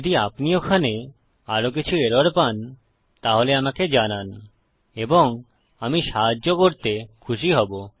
যদি আপনি ওখানে আরো কিছু এরর পান তাহলে আমাকে জানান এবং আমি সাহায্য করতে খুশি হব